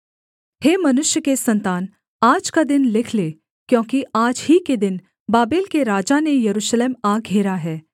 हे मनुष्य के सन्तान आज का दिन लिख ले क्योंकि आज ही के दिन बाबेल के राजा ने यरूशलेम आ घेरा है